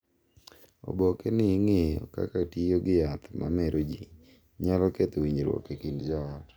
Oboke ni ng’iyo kaka tiyo gi yath ma mero ji nyalo ketho winjruok e kind joot,